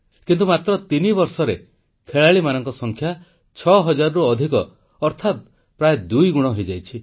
କିନ୍ତୁ ମାତ୍ର ତିନିବର୍ଷରେ ଖେଳାଳିମାନଙ୍କ ସଂଖ୍ୟା 6000ରୁ ଅଧିକ ଅର୍ଥାତ ପ୍ରାୟ ଦୁଇଗୁଣ ହୋଇଯାଇଛି